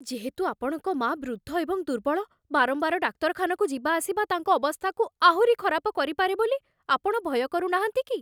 ଯେହେତୁ ଆପଣଙ୍କ ମାଆ ବୃଦ୍ଧ ଏବଂ ଦୁର୍ବଳ, ବାରମ୍ବାର ଡାକ୍ତରଖାନାକୁ ଯିବା ଆସିବା ତାଙ୍କ ଅବସ୍ଥାକୁ ଆହୁରି ଖରାପ କରିପାରେ ବୋଲି ଆପଣ ଭୟ କରୁନାହାନ୍ତି କି?